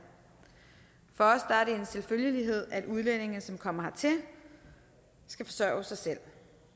for er det en selvfølgelighed at udlændinge som kommer hertil skal forsørge sig selv